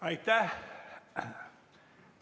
Aitäh!